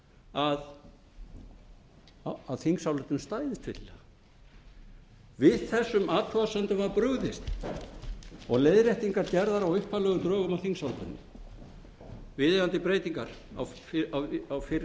að þingsályktunartillagan stæðist fyllilega við þessum athugasemdum var brugðist og leiðréttingar gerðar á upphaflegum drögum að þingsályktunartillögunni viðeigandi breytingar á fyrri